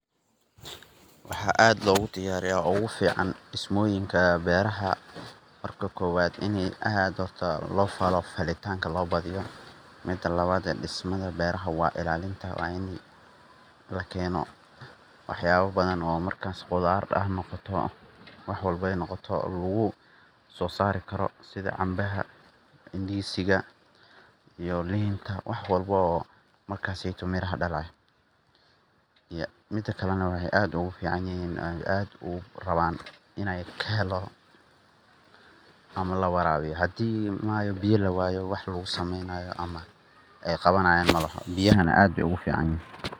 waaxa aad lagu diiyariya oguu fiican diismoyinka beeraha markii kowaada ini ad lo faalo falitaanka lo badiiyo midaa laawada dismaaha beeraha waa iilaalinta waain lakeeno waaxayabao baadan markas oo qudaar hanoqoto waxa walbo ee noqoto lagu so saari karo sidhaa caanbaha, Indizi iyo lintaa waax walbo oo maarkaaseyto miraha daalayo mid kale waaxey aad ugu fiicanyihin aad u raawana iney kahelana lawarawiyo hadi biyo laawayo ama waax lagu sameynaayo waaxe qawanaya maalaxa biyahana aad bey ugu fiicanyihin